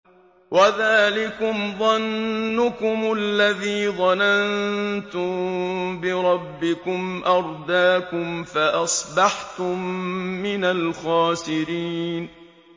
وَذَٰلِكُمْ ظَنُّكُمُ الَّذِي ظَنَنتُم بِرَبِّكُمْ أَرْدَاكُمْ فَأَصْبَحْتُم مِّنَ الْخَاسِرِينَ